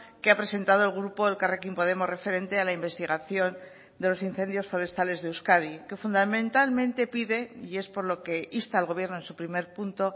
que ha presentado el grupo elkarrekin podemos referente a la investigación de los incendios forestales de euskadi que fundamentalmente pide y es por lo que insta al gobierno en su primer punto